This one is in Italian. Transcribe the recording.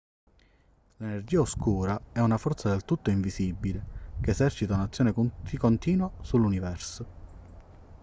l'energia oscura è una forza del tutto invisibile che esercita un'azione continua sull'universo